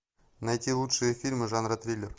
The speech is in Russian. найти лучшие фильмы жанра триллер